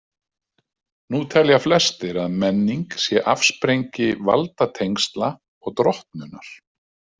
Nú telja flestir að menning sé afsprengi valdatengsla og drottnunar.